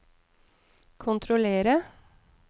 kontrollere